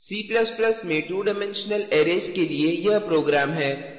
c ++ में 2 dimensional arrays के लिए यह program है